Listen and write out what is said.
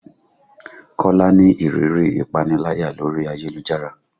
Kola ni ìrírí ìpaniláyà lórí ayélujára